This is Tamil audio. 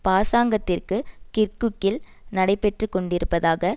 பாசாங்கதிற்கு கிர்குக்கில் நடைபெற்று கொண்டிருப்பதாக